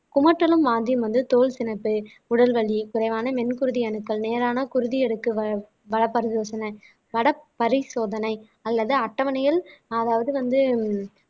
குமட்டலும் வாந்தியும் வந்து தோல் சினைப்பு உடல் வலி குறைவான வெண் குருதி அணுக்கள் நேரான குருதி வட பரிசோதனை அல்லது அட்டவணையில் அதாவது வந்து